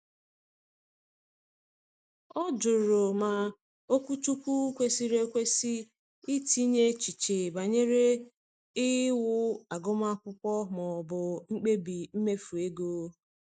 Ọ jụrụ ma okwuchukwu kwesịrị kwesịrị itinye echiche banyere iwu agụmakwụkwọ ma ọ bụ mkpebi mmefu ego.